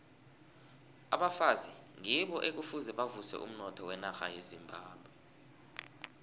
abafazi ngibo ekufuze bavuse umnotho wenarha yezimbabwe